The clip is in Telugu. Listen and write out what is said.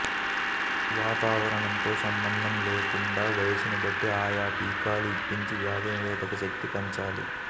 వాతావరణంతో సంబంధం లేకుండా వయసును బట్టి ఆయా టీకాలు ఇప్పించి వ్యాధి నిరోధక శక్తి పెంచాలి